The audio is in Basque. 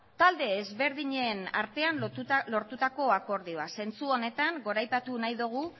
talde ezberdinen artean lortutako akordioa zentzu honetan goraipatu nahi dugu